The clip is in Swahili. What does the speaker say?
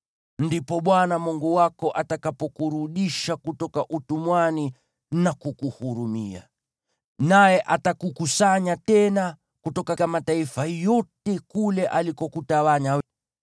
ndipo Bwana Mungu wako atakapokurudisha kutoka utumwani na kukuhurumia, naye atakukusanya tena kutoka mataifa yote kule alikutawanya.